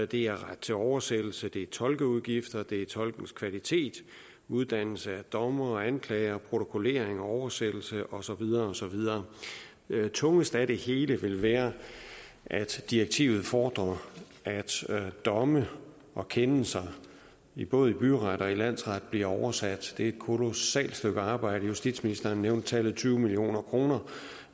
det er ret til oversættelse det er tolkeudgifter det er tolkens kvalitet uddannelse af dommere og anklagere protokollering oversættelse og så videre og så videre tungest af det hele vil være at direktivet fordrer at domme og kendelser i både by og landsret bliver oversat det er et kolossalt stykke arbejde justitsministeren nævnte tallet tyve million kroner